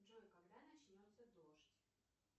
джой когда начнется дождь